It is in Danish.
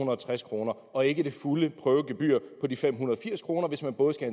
og tres kroner og ikke det fulde prøvegebyr på de fem hundrede og firs kr hvis man både skal